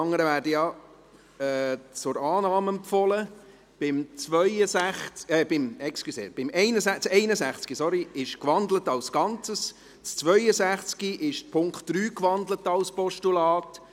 Bei Traktandum 62 wurde der Punkt 3 gewandelt, die anderen werden zur Annahme empfohlen.